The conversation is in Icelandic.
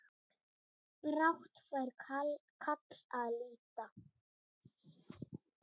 Brátt fær kall að líta.